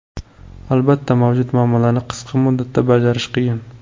Albatta, mavjud muammolarni qisqa muddatda bajarish qiyin.